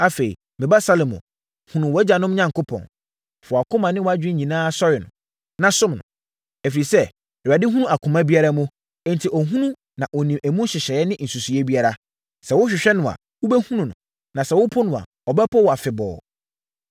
“Afei, me ba Salomo, hunu wʼagyanom Onyankopɔn. Fa wʼakoma ne wʼadwene nyinaa sɔre no, na som no. Ɛfiri sɛ, Awurade hunu akoma biara mu, enti ɔhunu na ɔnim emu nhyehyɛeɛ ne nsusuiɛ biara. Sɛ wohwehwɛ no a, wobɛhunu no. Na sɛ wopo no a, ɔbɛpo wo afebɔɔ.